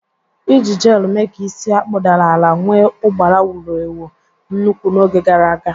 Iji jelu mee ka isi a kpụdara ala nwee ụgbara wuru ewu nnukwu n'oge gara aga.